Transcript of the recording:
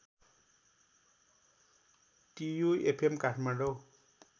TU FM Kathmandu